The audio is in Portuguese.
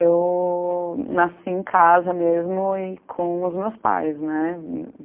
Eu nasci em casa mesmo e com os meus pais, né.